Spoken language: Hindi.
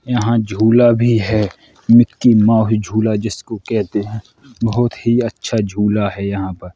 यहाँ झूला भी है। मिक्की माउस झूला जिसको कहते हैं बहोत ही अच्छा झूला है यहाँ पर।